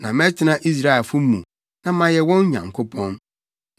Na mɛtena Israelfo mu na mayɛ wɔn Nyankopɔn,